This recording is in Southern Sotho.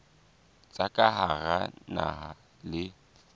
tsa ka hara naha le